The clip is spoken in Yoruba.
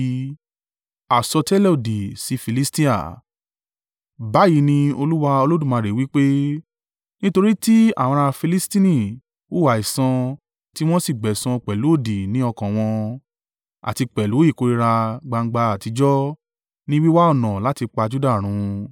“Báyìí ni Olúwa Olódùmarè wí pé: ‘Nítorí tí àwọn ará Filistini hùwà ẹ̀san tí wọ́n sì gbẹ̀san pẹ̀lú odì ní ọkàn wọn, àti pẹ̀lú ìkórìíra gbangba àtijọ́ ní wíwá ọ̀nà láti pa Juda run,